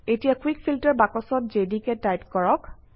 এতিয়া quick filter বাকচত JDK type কৰক